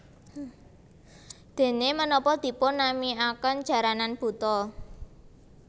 Dene menapa dipun namiaken Jaranan Buto